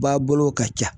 Ba bolo ka ca